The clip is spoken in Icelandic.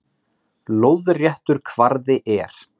Lóðréttur kvarði er